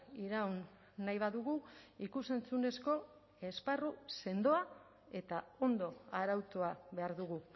iraun nahi badugu ikus entzunezko esparru sendoa eta ondo arautua behar dugu